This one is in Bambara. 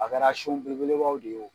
A kɛra sun bele belebaw de ye o